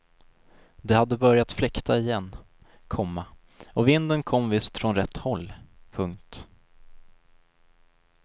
Det hade börjat fläkta igen, komma och vinden kom visst från rätt håll. punkt